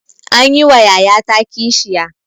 Anyi wa yayata kishiya.